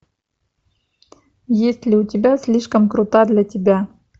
есть ли у тебя слишком крута для тебя